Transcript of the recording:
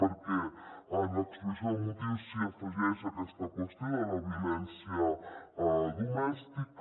perquè en l’exposició de motius s’hi afegeix aquesta qüestió de la violència domèstica